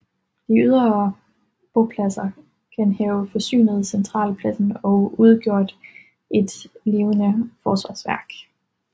De ydre bopladser kan have forsynet centralpladsen og udgjort et levende forsvarsværk